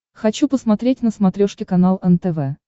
хочу посмотреть на смотрешке канал нтв